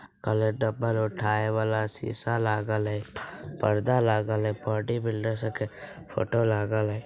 काला डब्बा उठाए वाला शीशा लागल हई पर्दा लागल हई बॉडी बिल्डर का फोटो लागल हई।